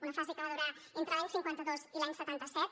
una fase que va durar entre l’any cinquanta dos i l’any setanta set